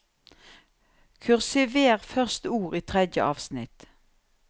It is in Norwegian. Kursiver første ord i tredje avsnitt